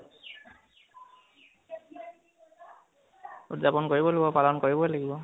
উদযাপন কৰিব লাগিব, পালন কৰিবই লাগিব